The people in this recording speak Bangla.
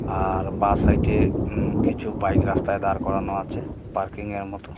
আর বাঁ সাইডে উম কিছু বাইক রাস্তায় দাঁড় করানো আছে পার্কিংয়ের মতো.